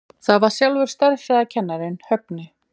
Það var sjálfur stærðfræðikennarinn, Högni.